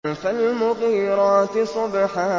فَالْمُغِيرَاتِ صُبْحًا